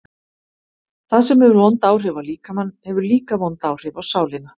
Það sem hefur vond áhrif á líkamann hefur líka vond áhrif á sálina.